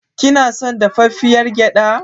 Kina son dafaffiyar gyaɗa.